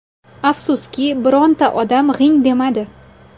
Afsuski, birorta odam g‘ing demadi.